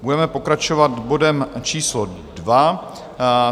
Budeme pokračovat bodem číslo